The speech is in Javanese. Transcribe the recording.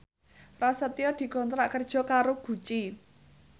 Prasetyo dikontrak kerja karo Gucci